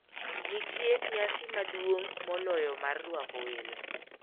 Nitie nyasi maduong` moloyo mar rwako "welo".